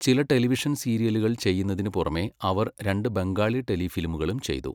ചില ടെലിവിഷൻ സീരിയലുകൾ ചെയ്യുന്നതിനു പുറമേ, അവർ രണ്ടു ബംഗാളി ടെലി ഫിലിമുകളും ചെയ്തു.